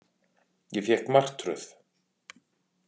Ég fékk martröð.